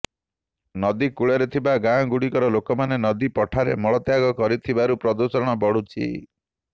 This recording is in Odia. ନଦୀ କୂଳରେ ଥିବା ଗାଁଗୁଡ଼ିକର ଲୋକମାନେ ନଦୀପଠାରେ ମଳତ୍ୟାଗ କରୁଥିବାରୁ ପ୍ରଦୂଷଣ ବଢ଼ୁଛି